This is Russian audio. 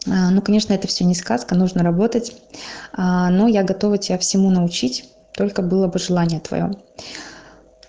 ну конечно это все не сказка нужно работать но я готова тебя всему научить только было бы желание твоё